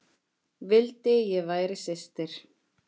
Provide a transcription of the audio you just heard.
Vildi ég væri systir.